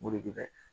Moritigɛ